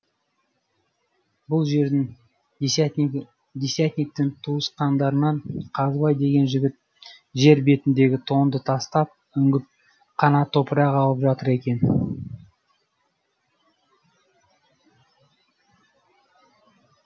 бұл жердің десятниктің туысқандарынан қазыбай деген жігіт жер бетіндегі тоңды тастап үңгіп қана топырақ алып жатыр екен